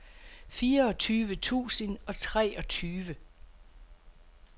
fireogtyve tusind og treogtyve